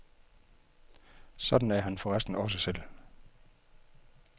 Sådan er han forresten også selv.